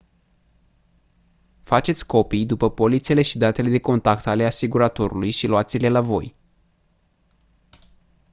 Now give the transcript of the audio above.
faceți copii după polițele și datele de contact ale asiguratorului și luați-le la voi